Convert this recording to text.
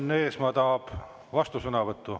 Enn Eesmaa tahab vastusõnavõttu.